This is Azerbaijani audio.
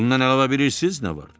Bundan əlavə bilirsiniz nə var?